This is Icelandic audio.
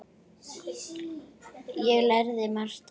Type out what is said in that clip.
Ég lærði margt af henni.